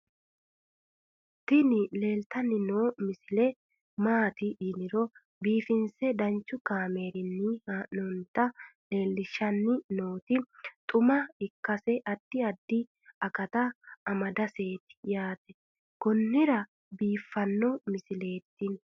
tini leeltanni noo misile maaati yiniro biifinse danchu kaamerinni haa'noonnita leellishshanni nonketi xuma ikkase addi addi akata amadaseeti yaate konnira biiffanno misileeti tini